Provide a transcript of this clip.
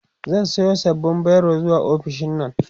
zan Sayo sababbin biro zuwa ofishinnan